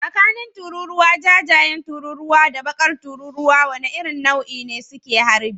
Tsakanin tururuwa jajayen tururuwa da bakar tururuwa, wace irin nau'in ne suke harbi?